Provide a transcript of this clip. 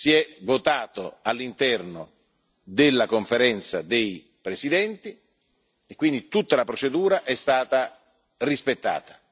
Si è votato all'interno della Conferenza dei presidenti e quindi tutta la procedura è stata rispettata.